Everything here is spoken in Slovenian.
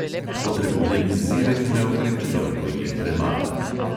Potrebujem izzive, ki me okrepijo, ko jih premagam.